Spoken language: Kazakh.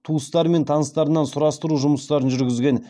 туыстары мен таныстарынан сұрастыру жұмыстарын жүргізген